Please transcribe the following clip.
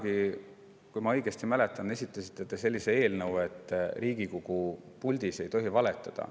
Kunagi, kui ma õigesti mäletan, esitasite te sellise eelnõu, et Riigikogu puldis ei tohi valetada.